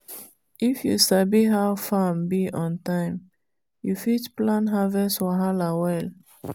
if you sabi how farm be on time you fit plan harvest wahala well.